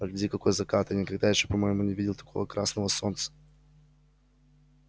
погляди какой закат я никогда ещё по-моему не видал такого красного солнца